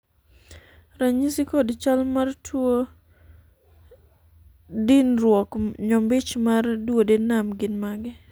ranyisi kod chal tuo dinruok nyombich mar duodenum gin mage?